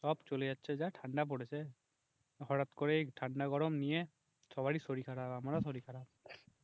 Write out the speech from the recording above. সব চলে যাচ্ছে যা ঠান্ডা পড়েছে, হঠাৎ করে এই ঠান্ডা গরম নিয়ে সবারই শরীর খারাপ, আমারও শরীর খারাপ